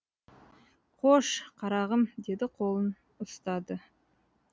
қош қарағым деп қолын ұстады